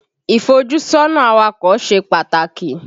Ìfójúsọ́nà awakọ̀ ṣe pàtàkì.